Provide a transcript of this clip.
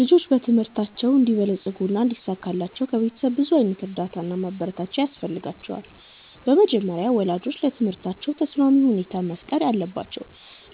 ልጆች በትምህርታቸው እንዲበለጽጉና እንዲሳካላቸው ከቤተሰብ ብዙ ዓይነት እርዳታ እና ማበረታቻ ያስፈልጋቸዋል። በመጀመሪያ ወላጆች ለትምህርታቸው ተስማሚ ሁኔታ መፍጠር አለባቸው፣